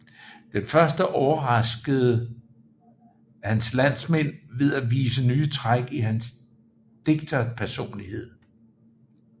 Den første overraskede hans landsmænd ved at vise nye træk i hans digterpersonlighed